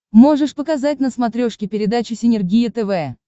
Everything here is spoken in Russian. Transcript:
можешь показать на смотрешке передачу синергия тв